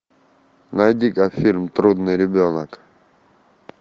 найди ка фильм трудный ребенок